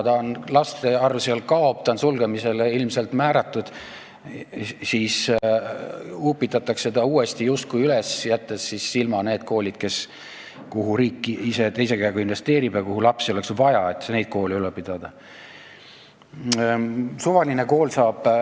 Laste arv seal kahaneb, kool on ilmselt sulgemisele määratud, aga ta upitatakse justkui üles, jättes ilma need koolid, kuhu riik ise teise käega investeerib ja kuhu oleks lapsi juurde vaja, et neid koole edasi pidada.